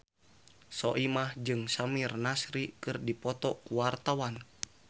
Soimah jeung Samir Nasri keur dipoto ku wartawan